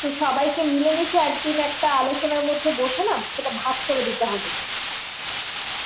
তো সবাইকে মাইল মিশে একদিন একটা আলোচনার মধ্যে বসে না সেটা ভাগ করে দিতে হবে